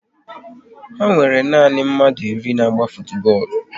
Ha nwere na nanị mmadụ iri na-agba futubọọlụ